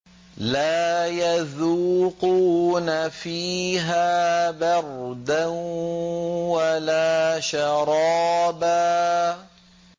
لَّا يَذُوقُونَ فِيهَا بَرْدًا وَلَا شَرَابًا